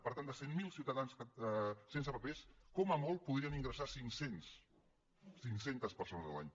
per tant de cent miler ciutadans sense papers com a molt podrien ingressar ne cinc cents cinc cents persones l’any